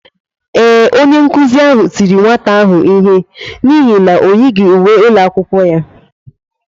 Ee, onye nkụzi ahụ tiri nwata ahụ ihe n’ihi na o yighị uwe ụlọ akwụkwọ ya.